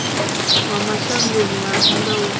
wa mashangoni a nnḓa wo